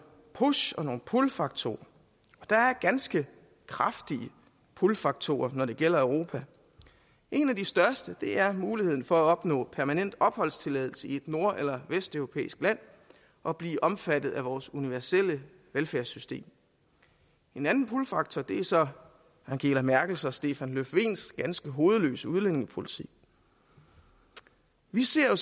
push og pullfaktorer og der er ganske kraftige pullfaktorer når det gælder europa en af de største er muligheden for at opnå permanent opholdstilladelse i et nord eller vesteuropæisk land og blive omfattet af vores universelle velfærdssystem en anden pullfaktor er så angela merkels og stefan löfvens ganske hovedløse udlændingepolitik vi ser